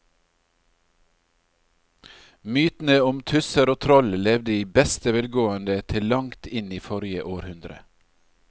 Mytene om tusser og troll levde i beste velgående til langt inn i forrige århundre.